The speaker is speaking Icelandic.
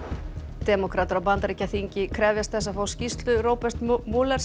demókratar á Bandaríkjaþingi krefjast þess að fá skýrslu Roberts